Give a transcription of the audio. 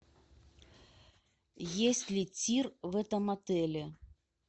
есть ли тир в этом отеле